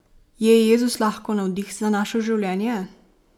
Je Jezus lahko navdih za naše življenje?